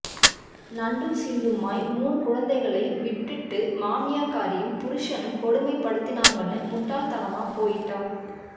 நண்டும் சிண்டுமாய் மூனு குழந்தைகளை விட்டுட்டு மாமியாக்காரியும் புருஷனும் கொடுமைப் படுத்தினாங்கன்னு முட்டாள் தனமா போயிட்டா